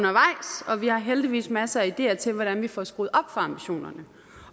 vi har heldigvis masser af ideer til hvordan vi får skruet op ambitionerne